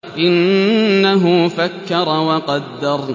إِنَّهُ فَكَّرَ وَقَدَّرَ